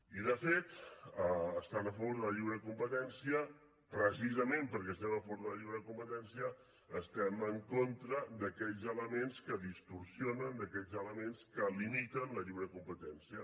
i de fet estant a favor de la lliure competència precisament perquè estem a favor de la lliure competència estem en contra d’aquells elements que distorsionen d’aquells elements que limiten la lliure competència